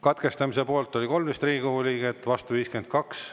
Katkestamise poolt oli 13 Riigikogu liiget, vastu 52.